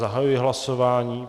Zahajuji hlasování.